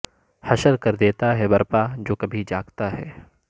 حشر کر دیتا ہے برپا جو کبھی جاگتا ہے